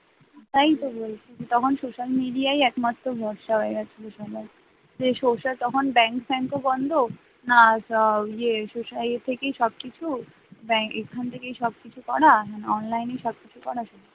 ওটাই তো বলছি তখন social media একমাত্র ভরসা হয়ে গেছে যেসব ব্যাংক ফাঙ্ক ও বন্ধ আর ইয়ে এ থেকেই সবকিছু ব্যাংক এখান থেকেই সবকিছু করা মানে online সব কিছু করা